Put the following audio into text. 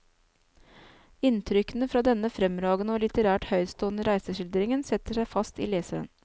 Inntrykkene fra denne fremragende og litterært høytstående reiseskildringen setter seg fast i leseren.